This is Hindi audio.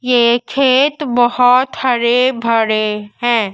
ये खेत बहोत हरे भरे हैं।